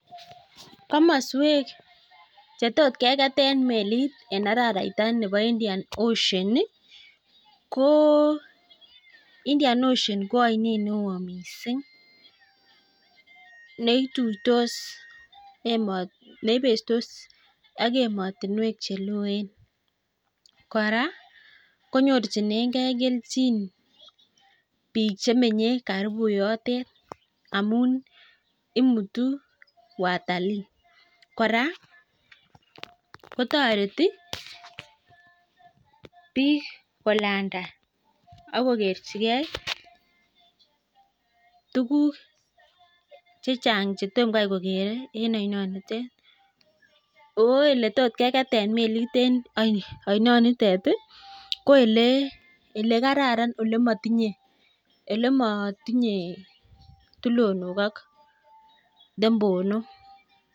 komosweek chetot kegeteen meliit en araraita nebo Indian ocean iih koo Indian ocean iih ko oineet neoo mising neituitos emoot, neibestos ak emotinweek cheloen, koraa konyorchinegee kelchiin biik chemenye karibu yoteet amuun imutu watalii, koraa kotoreti biik kolanda agogerchigee tuguuk chechang chetomgai kogere en oinoniteet, ooh eletotkegeteen meliit en oinoniteet iih koelekararan elemotinye tulonook ak dembonook.